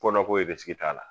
Kɔ ko t'a la.